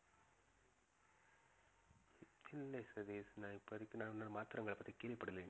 இல்ல சதீஷ் நான் இப்ப இருக்கிற மாற்றங்களைப் பத்தி கேள்விப்படலை